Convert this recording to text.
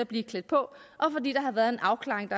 blev klædt på og har været en afklaring